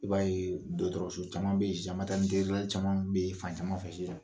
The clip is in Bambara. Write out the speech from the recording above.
I b'a ye dɔgɔtɔrɔroso caman bɛ yen caman bɛ fan caman bɛ yen fan sisan